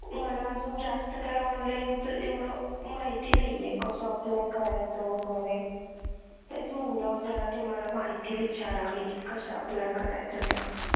मला अजून जास्त काही online चं एवढं माहिती नाहीये कसा apply करायचा वगैरे तेच म्हणलं तुम्हाला जरा माहिती विचारावी कसं apply करायचं